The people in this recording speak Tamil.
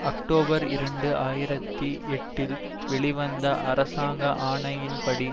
அக்டோபர் இரண்டு ஆயிரத்தி எட்டில் வெளிவந்த அரசாங்க ஆணையின்படி